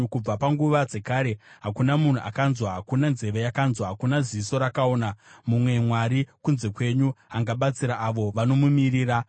Kubva panguva dzekare hakuna munhu akanzwa, hakuna nzeve yakanzwisisa, hakuna ziso rakaona mumwe Mwari kunze kwenyu, anobatsira avo vanomumirira.